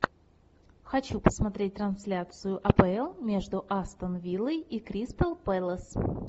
хочу посмотреть трансляцию апл между астон виллой и кристал пэлас